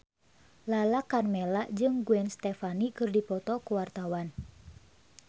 Lala Karmela jeung Gwen Stefani keur dipoto ku wartawan